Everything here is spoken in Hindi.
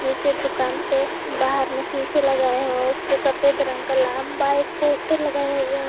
नीचे दुकान पे बाहर में शीशे लगाए हो उसपे सफेद रंग का लंबा एक पोस्टर लगाया हुआ है।